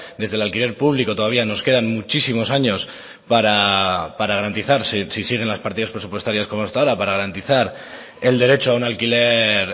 desde el alquiler público todavía nos quedan muchísimos años para garantizarse si siguen las partidas presupuestarias como hasta ahora para garantizar el derecho a un alquiler